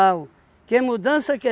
Que mudança